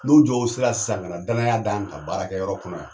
N'o jɔw sera sisan ka danaya da n kan baarakɛyɔrɔ kɔnɔ yan